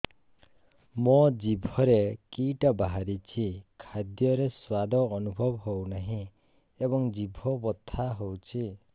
ମୋ ଜିଭରେ କିଟା ବାହାରିଛି ଖାଦ୍ଯୟରେ ସ୍ୱାଦ ଅନୁଭବ ହଉନାହିଁ ଏବଂ ଜିଭ ବଥା ହଉଛି